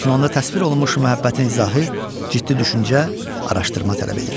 Lakin onda təsvir olunmuş məhəbbətin izahı ciddi düşüncə, araşdırma tələb edir.